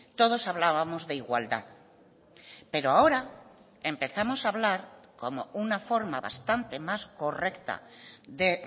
todos hablábamos de igualdad pero ahora empezamos a hablar como una forma bastante más correcta de